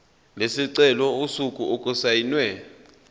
lesicelo usuku okusayinwe